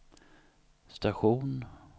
station